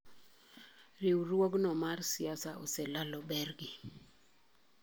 Riwruogno mar siasa oselalo bregi.